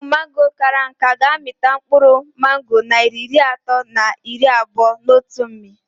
Ukwu mango kara nká ga -amịtanwu mkpụrụ mango narị iri atọ na iri abụo n'otu mmị